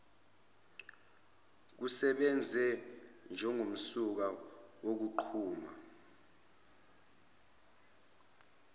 kusebenze njengomsuka wokunquma